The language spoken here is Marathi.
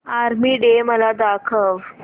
आर्मी डे मला दाखव